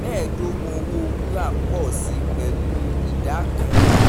mẹ́ẹ̀dógbọ̀n owó wúrà pọ̀ si pẹ̀lú ìdá kan.